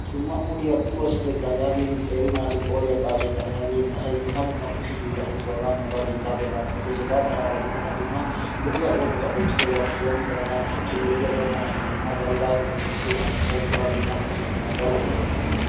Dumma uluwa suggettaa yaagin qeeri naatu qooriya qaaccettaa yaagin asay dumma dumma kushe hiillaa oosuwa hagaa nuuga biittas bollan oottees. Hegaa xalaala gidenna dumma lo'iya oosota oottidoogappe doommiddagaan uttiyo oydiya gakkanaashin dumma galbbappe giggissiyogan asay nuuga biittaan kushe hiillaan daro oosuwa oottees.